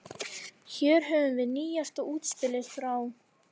Hér höfum við nýjasta útspilið frá